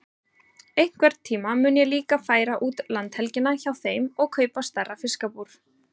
Einhvern tíma mun ég líka færa út landhelgina hjá þeim og kaupa stærra fiskabúr.